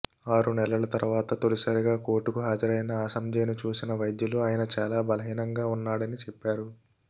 ఆరు నెలల తర్వాత తొలిసారిగా కోర్టుకు హాజరైన అసాంజేను చూసిన వైద్యులు ఆయన చాలా బలహీనంగా ఉన్నాడని చెప్పారు